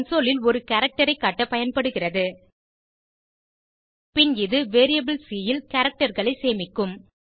console ல் ஒரு character ஐ காட்ட பயன்படுகிறது பின் இது வேரியபிள் சி ல் characterகளை சேமிக்கும்